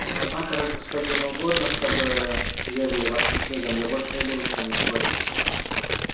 однако раз господину угодно чтобы верили вашим книгам я больше не буду с вами спорить